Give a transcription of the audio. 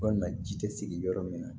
Walima ji tɛ sigi yɔrɔ min na